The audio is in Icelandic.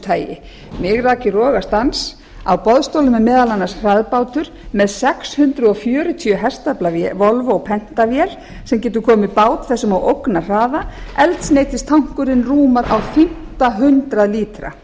tagi mig rak í rogastans á boðstólum er meðal annars hraðbátur með sex hundruð fjörutíu hestafla volvo penta vél sem getur komið bát þessum á ógnarhraða eldsneytistankurinn rúmar á fimmta hundrað lítra